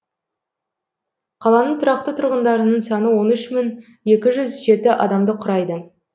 қаланың тұрақты тұрғындарының саны он үш мың екі жүз жеті адамды құрайды